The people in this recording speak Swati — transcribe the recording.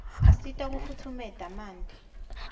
asita kufutfumeta manti